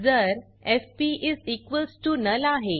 जर FP is equals to null आहे